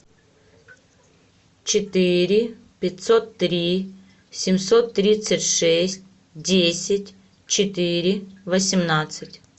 четыре пятьсот три семьсот тридцать шесть десять четыре восемнадцать